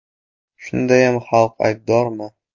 Shundayam xalq aybdormi?